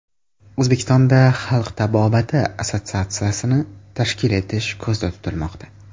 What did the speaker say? O‘zbekistonda Xalq tabobati assotsiatsiyasini tashkil etish ko‘zda tutilmoqda.